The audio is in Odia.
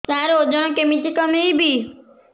ସାର ଓଜନ କେମିତି କମେଇବି